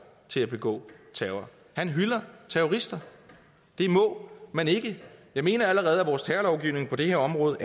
til at begå terror han hylder terrorister det må man ikke jeg mener at vores terrorlovgivning på det her område